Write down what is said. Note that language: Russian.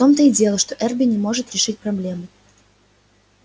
в том-то и дело что эрби не может решить проблему